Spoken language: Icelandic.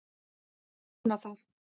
En ég vona það!